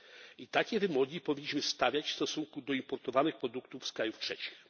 I takie wymogi powinniśmy stawiać w stosunku do importowanych produktów z krajów trzecich.